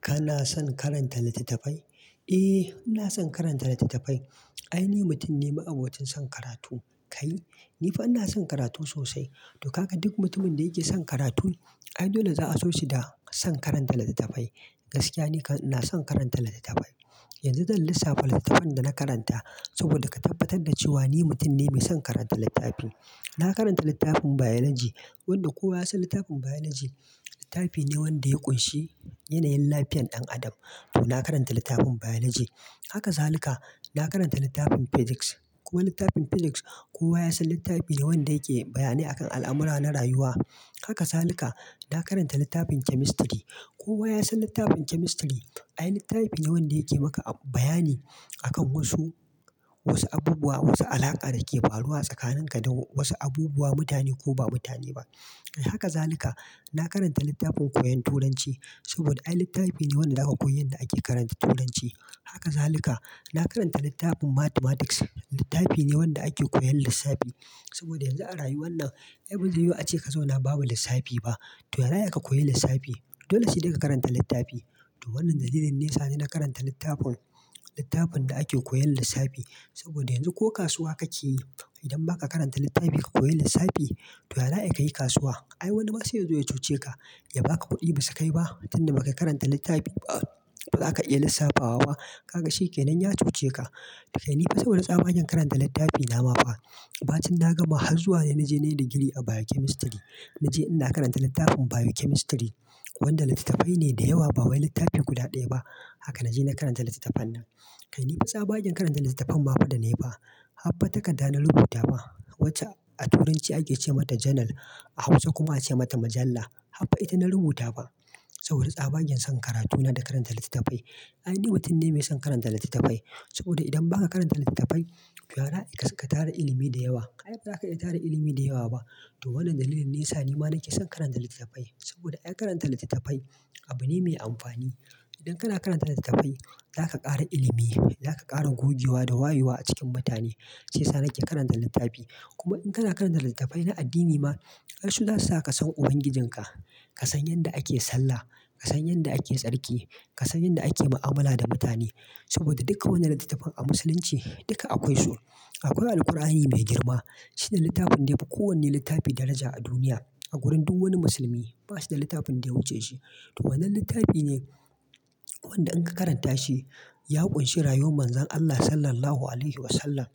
Kana son karanta littattafai? Eh, ina son karanta littattafai. Ai ni mutum ne mai abocin son karatu. Kai, ni fa ina son karatu sosai. To kaga duk mutumin da yake son karatu, ai dole za a so shi da son karanta littattafai. Gaskiya ne kana son karanta littattafai. Yanzu zan lissafi littattafan da na karanta saboda ka tabbatar da cewa ni mutum ne mai son karanta littafi. Na karanta littafin Biology, wanda kowa ya san littafin Biology, littafi ne wanda ya ƙunshi yanayin lafiyar ɗan adam. To na karanta littafin Biology. Haka salika, na karanta littafin Physics. Kowa littafin Physics, kowa ya san littafi ne wanda yake bayani akan al'amura na rayuwa. Haka salika, na karanta littafin Chemistry. Kowa ya san littafin Chemistry. Ai littafi ne wanda yake maka bayani akan wasu, wasu abubuwa, wasu alaƙa da ke faruwa tsakanin ka da wasu abubuwa, mutane ko ba mutane ba. Haka zalika, na karanta littafin koyon Turanci saboda ai littafi ne wanda aka koyi yadda ake karanta Turanci. Haka zalika, na karanta littafin Mathematics. Littafi ne wanda ake koyan lissafi saboda yanzu a rayuwar nan, ai ba zai yiwu ace ka zo na bawa lissafi ba. To yaza ai ka koyi lissafi? Dole sai dai ka karanta littafi. To wannan dalilin ne sani na karanta littafin, littafin da ake koyan lissafi. Saboda yanzu ko kasuwa kake yi, idan ba ka karanta littafi ka koyi lissafi, to yara ya ka yi kasuwa? Ai wani ma zai zo ya cuce ka. Ya ba ka kuɗi ba sai ka yi ba. Tin da ba ka karanta littafi ba, to za ka iya lissafa wa ba, ka ga shi kenan ya cuce ka. Kai ni fa sau da tsawa zan karanta littafi na ma ba. Ba tin na gama har zuwa ne na je na yi digiri a Biochemistry. Na je ina karanta littafin Biochemistry, wanda littattafai ne da yawa, ba wani littafi guda ɗaya ba. Haka na je na karanta littattafan nan. Kai ni fa tsawon aikin karanta littattafan ma fa da na yi ba. Haffa ta kadda na rubuta ba, wacce a Turanci ake ce mata journal, a Hausa kuma ake mata majalla. Haba ita na rubuta ba. Saboda tsawon aikin son karatu na da karanta littattafai. Ai ni mutum ne mai son karanta littattafai saboda idan ba ka karanta littattafai, to yara ka tara ilimi da yawa. Kai ba za ka iya tara ilimi da yawa ba. To wannan dalilin ne ya sa ni ma nake son karanta littattafai saboda ai karanta littattafai abu ne mai amfani. Idan kana karanta littattafai, za ka ƙara ilimi, za ka ƙara gogewa da wayewa a cikin mutane. Shi yasa nake karanta littafi. Kuma in kana karanta littattafai na addini ma, ai su za su sa ka san Ubangijinka. Ka san yadda ake sallah, ka san yadda ake tsarki, ka san yadda ake mu'amala da mutane. Saboda duka wannan littattafan a Musulunci duka akwai su. To wannan dalilin ne sani na karanta littafin, littafin da ake koyan lissafi. Saboda yanzu ko kasuwa kake yi, idan ba ka karanta littafi ka koyi lissafi, to yara ya ka yi kasuwa? Ai wani ma zai zo ya cuce ka. Ya ba ka kuɗi ba sai ka yi ba. To wannan littafi ne wanda in ka karanta shi, ya ƙunshi rayuwar Manzon Allah Sallallahu Alaihi Wasallam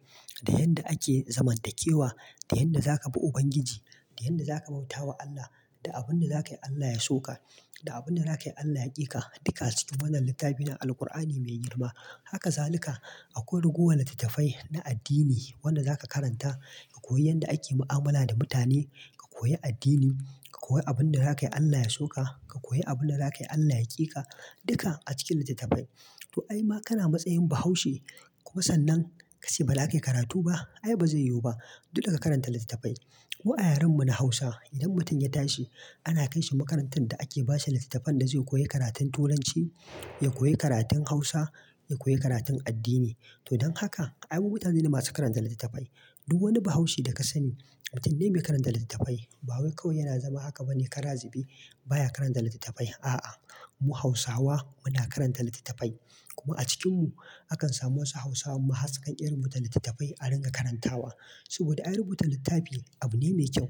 da yadda ake zamantakewa, da yadda za ka bi Ubangiji, da yadda za ka bauta wa Allah, da abin da za ka yi Allah ya so ka, da abin da za ka yi Allah ya ƙi ka. Duka a cikin wannan littafi na Alqur'ani mai girma. Haka salika, akwai rugowan littattafai na addini wanda za ka karanta ka koyi yadda ake mu'amala da mutane, ka koyi addini, ka koyi abin da za ka yi Allah ya so ka, ka koyi abin da za ka yi Allah ya ƙi ka. Duka a cikin littattafai. To ai ma kana matsayin Bahaushe kuma sannan ka ce ba za ka yi karatu ba. Ai ba zai yiwu ba. Dolle ka karanta littattafai. Ko a yaren mu na Hausa, idan mutum ya tashi, ana kai shi makarantar da ake ba shi littattafan da zai koyi karatun Turanci, ya koyi karatun Hausa, ya koyi karatun addini. To don haka, ai mu mutane ne masu karanta littattafai. Duk wani Bahaushe da ka sani, mutum ne mai karanta littattafai. Ba wai kawai yana zama haka bane kara zube, baya karanta littattafai. A'a, mu Hausawa muna karanta littattafai. Kuma a cikinmu, akan samu wasu Hausawan mahasƙan ƙiran mu littattafai a ringa karantawa. Saboda ai rubuta littafi abu ne mai kyau.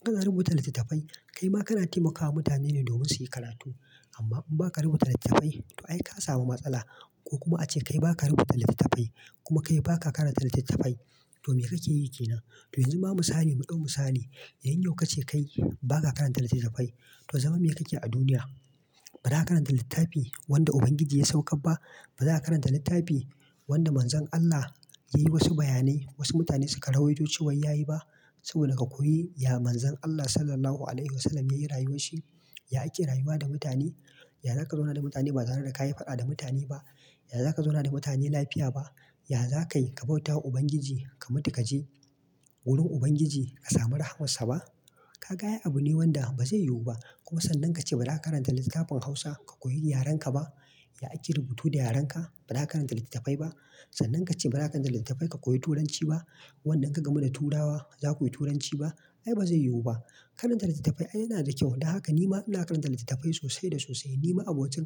Idan ka na rubuta littattafai, kai ma kana taimakawa mutane ne domin su yi karatu. Amma in ba ka rubuta littattafai, to ai ka samu matsala. Ko kuma ace kai ba ka rubuta littattafai, kuma kai ba ka karanta littattafai, to me kake yi kenan? To yanzu ba mu sani muɗin mu sani. Idan yau ka ce kai ba ka karanta littattafai, to zama me kake a duniya? Ba za ka karanta littafi wanda Ubangiji ya sauƙar ba? Ba za ka karanta littafi wanda Manzon Allah yayi wasu bayanai wasu mutane suka rawo da cewa ya yi ba? Saboda ka koyi ya Manzon Allah Sallallahu Alaihi Wasallam ya yi rayuwar shi, ya ake rayuwa da mutane, ya za ka zauna da mutane ba tare da ka yi faɗa da mutane ba, ya za ka zauna da mutane lafiya ba, ya za ka yi ka bauta wa Ubangiji ka mutu ka je wurin Ubangiji ka samu rahamar sa ba? Ka ga ai abu ne wanda ba zai yiwu ba. Kuma sannan ka ce ba za ka karanta littafin Hausa ka koyi yaren ka ba? Ya ake rubutu da yaren ka? Ba za ka karanta littattafai ba? Sannan ka ce ba za ka karanta littattafai ka koyi Turanci ba? Wanda in ka gamu da Turawa, za ka koyi Turanci ba? Ai ba zai yiwu ba. Karanta littattafai ai yana da kyau. Don haka ni ma ina karanta littattafai sosai da sosai. Ni ma abuwacin kar-